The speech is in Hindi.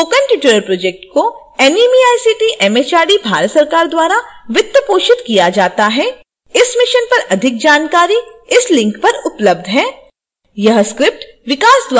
spoken tutorial project को एनएमईआईसीटी एमएचआरडी भारत सरकार द्वारा वित्त पोषित किया जाता है